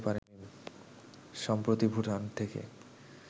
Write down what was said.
সম্প্রতি ভুটান থেকে